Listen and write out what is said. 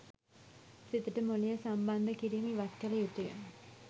සිතට මොලය සම්බන්ද කිරීම ඉවත් කල යුතුය